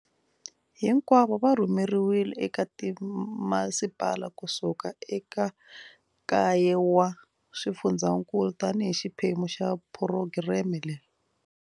Hinkwavo va rhurheriwile eka timasipala ku suka eka kaye wa swifundzankulu tanihi xiphemu xa phurogireme leyi.